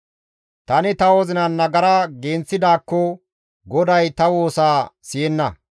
Tani ta wozinan nagara genththidaakko, Goday ta woosa siyenna.